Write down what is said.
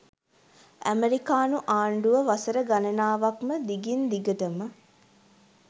ඇමෙරිකානු ආණ්ඩුව වසර ගණනාවක් ම දිගින් දිගටම